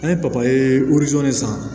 An ye papaye wili san